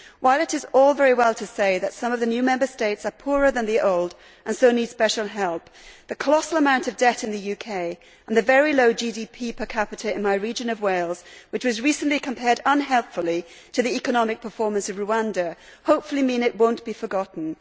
While it is all very well to say that some of the new Member States are poorer than the old and so need special help, the colossal amount of debt in the UK and the very low GDP per capita in my region of Wales, which was recently compared, unhelpfully, to the economic performance of Rwanda, hopefully mean it will not be forgotten.